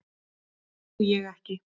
Því trúi ég ekki.